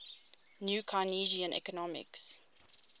new keynesian economics